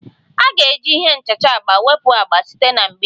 A ga-eji ihe nchacha agba wepụ agba site na mgbidi